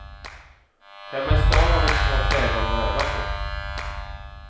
Hemma i stan har vi inte så många trägolv att öva på.